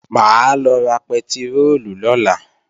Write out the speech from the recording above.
Mà á lọ ra pẹtiróòlù lọ́la